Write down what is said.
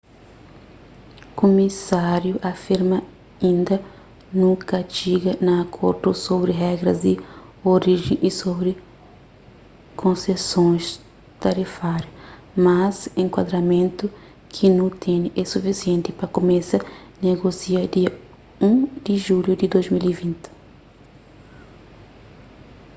kumisáriu afirma inda nu ka txiga a akordu sobri regras di orijen y sobri konsesons tarifáriu mas enkuadramentu ki nu tene é sufisienti pa kumesa negosia dia 1 di julhu di 2020